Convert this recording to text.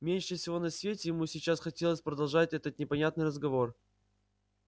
меньше всего на свете ему сейчас хотелось продолжать этот непонятный разговор